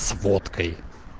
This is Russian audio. сфоткай